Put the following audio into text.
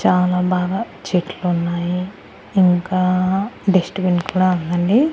చాలా బాగా చెట్లున్నాయి ఇంకా డస్ట్ బిన్ కూడా ఉందండి.